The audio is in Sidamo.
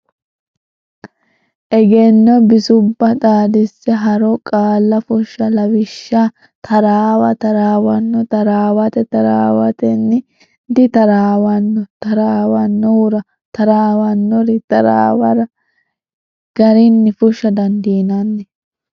Egenno Bisubba Xaadise Haaroo Qaalla Fushsha Lawishsha taraawa taraawanno taraawate taraawatenni ditaraawanno taraawannohura taraawannori taraawara w k l garinni fushsha dandiinanni.